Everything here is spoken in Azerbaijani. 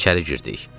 İçəri girdik.